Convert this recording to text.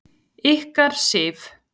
Ykkar, Sif.